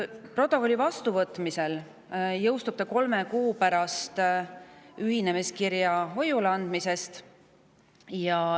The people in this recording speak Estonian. Protokolli vastuvõtmisel jõustub see kolm kuud pärast ühinemiskirja hoiule andmisest.